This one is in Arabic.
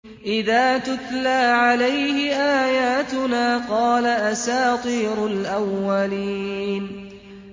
إِذَا تُتْلَىٰ عَلَيْهِ آيَاتُنَا قَالَ أَسَاطِيرُ الْأَوَّلِينَ